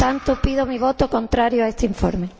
Por lo tanto, pido un voto contrario a este informe.